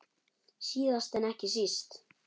Síðast en ekki síst.